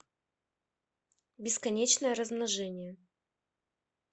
бесконечное размножение